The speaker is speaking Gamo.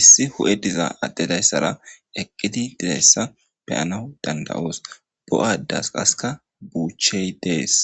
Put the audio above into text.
issi huhey dizza adde daysara eqqidi diizayssa be'anawu danda'os bo'adeas qasseka buuchey de'es.